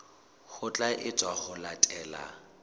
ho tla etswa ho latela